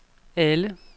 alle